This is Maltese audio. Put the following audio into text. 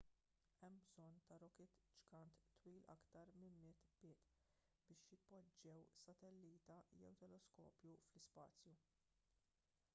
hemm bżonn ta' rokit ġgant twil aktar minn 100 pied biex jitpoġġew satellita jew teleskopju fl-ispazju